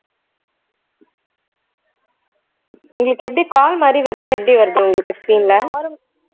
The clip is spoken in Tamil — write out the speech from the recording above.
உங்களுக்கு எப்படி call மாதிரி வருதா எப்படி வருது உங்களுக்கு screen ல